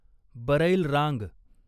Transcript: बरैल रांग